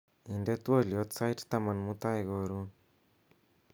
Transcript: inde twolyot sait taman mutai korun